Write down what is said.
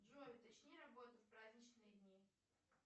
джой уточни работу в праздничные дни